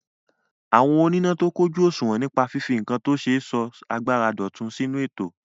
Àwọn oníná tó kójù òṣùwọ̀n nípa fífi nǹkan tó ṣe sọ agbára dọ̀tun sínú ètò.